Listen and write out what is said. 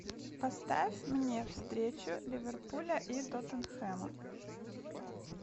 поставь мне встречу ливерпуля и тоттенхэма